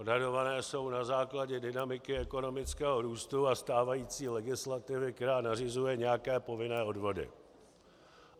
Odhadované jsou na základě dynamiky ekonomického růstu a stávající legislativy, která nařizuje nějaké povinné odvody.